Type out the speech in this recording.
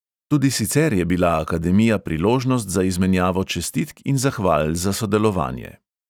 Tudi sicer je bila akademija priložnost za izmenjavo čestitk in zahval za sodelovanje.